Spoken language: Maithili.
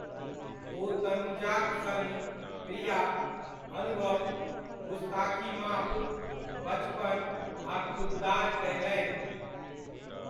ओ तनुजाक सङ्ग प्रिया', 'अनुभव', 'गुस्ताकी माफ', 'बचपन' आ 'खुद्दार' कयलनि।